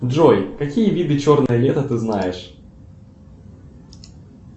джой какие виды черное лето ты знаешь